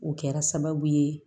O kɛra sababu ye